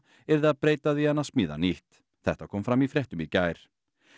yrði að breyta því en að smíða nýtt þetta kom fram í fréttum í gær